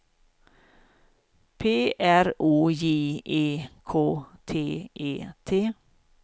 P R O J E K T E T